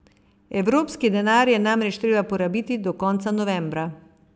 Evropski denar je namreč treba porabiti do konca novembra.